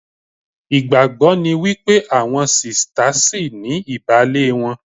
Ìgbàgbọ́ ni wípé àwọn sista ṣìní ìbàlé wọn